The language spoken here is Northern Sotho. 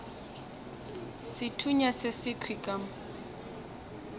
sethunya se sekhwi ka mo